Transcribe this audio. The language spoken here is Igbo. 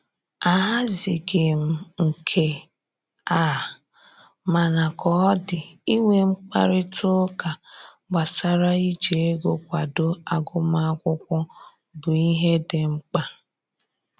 Ahazighị m nke a, mana ka ọ dị inwe mkparịta ụka gbasara iji ego kwado agụmakwụkwọ bụ ihe dị mkpa